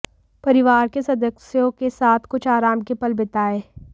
परिवार के सदस्यों के साथ कुछ आराम के पल बिताएँ